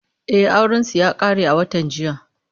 E, aurensu ya ƙare a watan jiya.